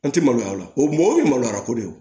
An tɛ maloya o la o mɔgɔ tɛ maloya ko de